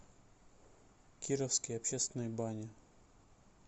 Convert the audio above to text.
кировские общественные бани